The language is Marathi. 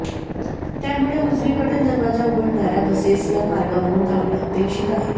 त्यामुळे उजवीकडील दरवाजा उघडणाऱ्या बसेस या मार्गावरुन धावणे अपेक्षित अाहे